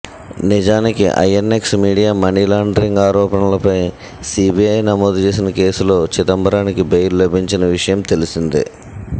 నిజానికి INX media money laundering ఆరోపణలపై CBI నమోదు చేసిన కేసులో చిదంబరానికి బెయిల్ లభించిన విషయం తెలిసిందే